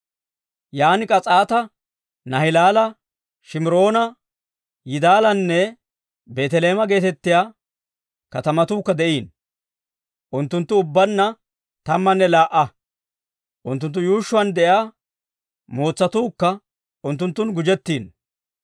Yan K'as'aata, Naahilaala, Shimiroona, Yidaalanne Beeteleeme geetettiyaa katamatuukka de'iino. Unttunttu ubbaanna tammanne laa"a; unttunttu yuushshuwaan de'iyaa mootsatuukka unttunttun gujjettiino.